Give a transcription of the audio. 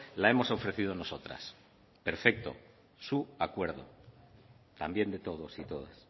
la hemos ofrecido nosotras perfecto su acuerdo también de todos y todas